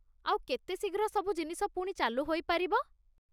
ଆଉ କେତେ ଶୀଘ୍ର ସବୁ ଜିନିଷ ପୁଣି ଚାଲୁ ହୋଇପାରିବ?